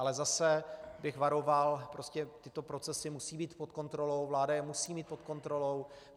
Ale zase bych varoval, tyto procesy musí být pod kontrolou, vláda je musí mít pod kontrolou.